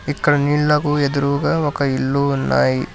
ఇక్కడ నీళ్లకు ఎదురుగా ఒక ఇల్లు ఉన్నాయి.